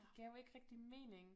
gav ikke rigtig mening